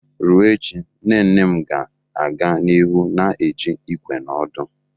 Ruo echi, nne nne m ga-aga n'ihu na eji ìkwé na òdù.